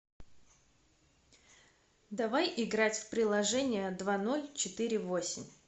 давай играть в приложение два ноль четыре восемь